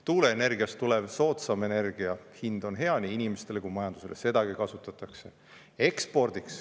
Tuuleenergiast tulev soodsam energia hind on hea nii inimestele kui majandusele, sedagi kasutatakse.